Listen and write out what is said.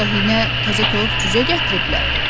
Yoxsa hinə təzə toyuq cücə gətiriblər?